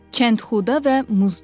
Kəndxuda və Muzdur.